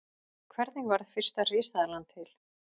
Hvernig varð fyrsta risaeðlan til?